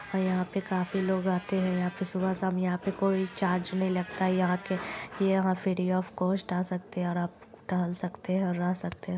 यहाँ पे काफी लोग आते हैं यहाँ पे सुबह शाम यहाँ पे कोई चार्ज नहीं लगता यहाँ के यह फ्री ऑफ़ कॉस्ट आ सकते है और आप टहल सकते है और रह सकते है।